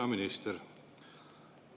Hea minister!